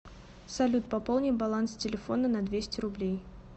салют пополни баланс телефона на двести рублей